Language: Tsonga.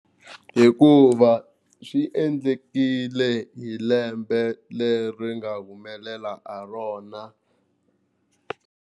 Hikuva swi endlekile hi lembe leri nga humelela ha rona.